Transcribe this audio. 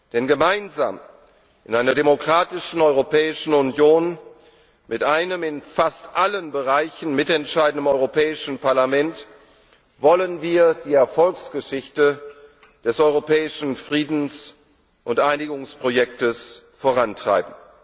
Denn gemeinsam in einer demokratischen Europäischen Union mit einem in fast allen Bereichen mitentscheidenden Europäischen Parlament wollen wir die Erfolgsgeschichte des europäischen Friedens und Einigungsprojektes vorantreiben.